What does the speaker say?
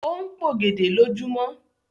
O n p'ògèdè lojumọ.